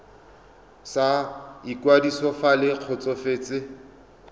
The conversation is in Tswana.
sa ikwadiso fa le kgotsofetse